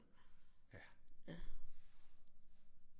Ja